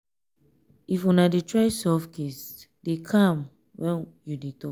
if una dey try solve case dey calm when you dey talk